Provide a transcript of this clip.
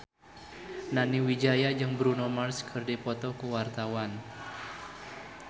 Nani Wijaya jeung Bruno Mars keur dipoto ku wartawan